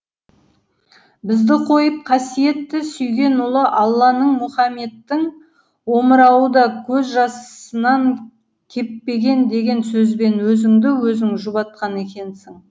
бізді қойып қасиетті сүйген ұлы алланың мұхаммедтің омырауы да көз жасынан кеппеген деген сөзбен өзіңді өзің жұбатқан екенсің